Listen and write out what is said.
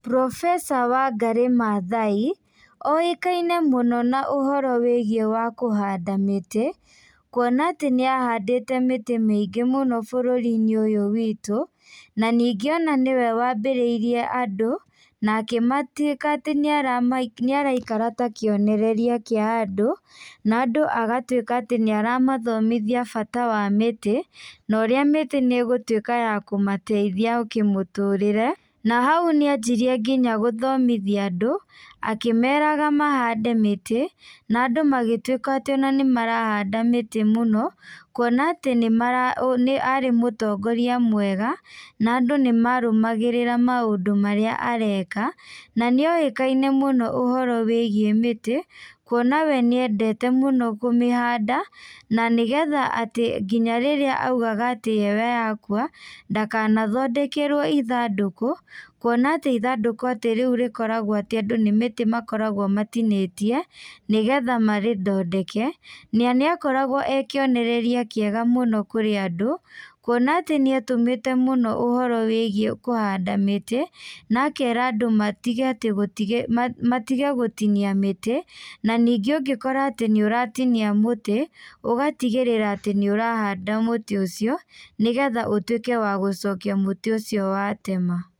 Profesa Wangarĩ Mathai, oĩkaine mũno na ũhoro wĩgiĩ wa kũhanda mĩtĩ, kuona atĩ nĩahandĩte mĩtĩ mĩingĩ mũno bũrũrinĩ ũyũ witũ, na ningĩ ona nĩwe wambĩrĩirie andũ, na akĩmatuĩka atĩ nĩarakara ta kĩonereria kĩa andũ, na andũ agatuĩka atĩ nĩaramathomithia bata wa mĩtĩ, na ũrĩa mĩtĩ nĩgũtuĩka ya kũmateithia kĩmũtũrĩre, na hau nĩanjirie nginya gũthomithia andũ, akĩmeraga mahande mĩtĩ, na andũ magĩtuĩka atĩ ona nĩmarahanda mĩtĩ mũno, kuona atĩ nĩmaraũ nĩ arĩ mũtongoria mwega, na andũ nĩmarũmagĩrĩra maũndũ marĩa areka, na nĩoĩkaine mũno ũhoro wĩgiĩ mĩtĩ, kuona we nĩendete mũno kũmĩhanda, na nĩgetha atĩ nginya rĩrĩa augaga atĩ we akua, ndakanathondekerwo ithandũkũ, kuona atĩ ithandũku atĩ rĩũ rĩkoragwo atĩ andũ nĩ mĩtĩ makoragwo matinĩtie, nĩgetha marĩthondeke, na nĩakoragwo ekĩonereria kĩega mũno kũrĩ andũ, kuona atĩ nĩatũmĩte mũno ũhoro wĩgiĩ kũhanda mĩtĩ, na akera andũ matige atĩ gũtigĩ matige gũtinia mĩtĩ, na ningĩ ũngĩkora atĩ nĩũratinia mũtĩ, ũgatigĩrĩra atĩ nĩũrahanda mũtĩ ũcio, nĩgetha ũtuĩke wa gũcokia mũtĩ ũcio watema.